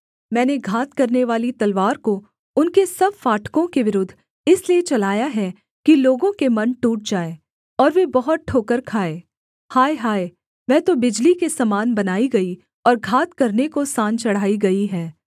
मैंने घात करनेवाली तलवार को उनके सब फाटकों के विरुद्ध इसलिए चलाया है कि लोगों के मन टूट जाएँ और वे बहुत ठोकर खाएँ हाय हाय वह तो बिजली के समान बनाई गई और घात करने को सान चढ़ाई गई है